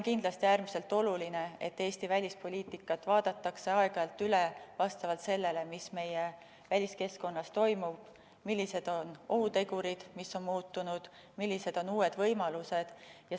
Kindlasti on äärmiselt oluline, et Eesti välispoliitikat vaadatakse aeg-ajalt üle vastavalt sellele, mis meie väliskeskkonnas toimub, millised on ohutegurid, mis on muutunud ja millised on uued võimalused.